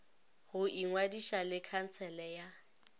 go ingwadiša le khansele ya